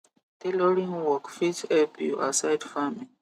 tailoring work fit help you aside farming